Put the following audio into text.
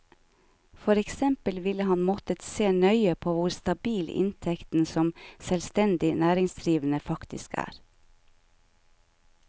For eksempel ville han måttet se nøye på hvor stabil inntekten som selvstendig næringsdrivende faktisk er.